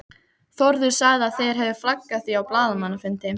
Þórður sagði að þeir hefðu flaggað því á blaðamannafundi.